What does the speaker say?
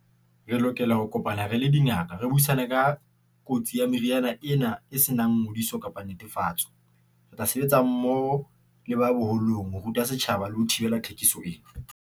Re lokela ho kopana, re le dingaka, re buisane ka kotsi ya meriana ena e se nang ngodiso kapa netefatso. Re tla sebetsa mmoho le ba boholong ho ruta setjhaba le ho thibela thekiso ena.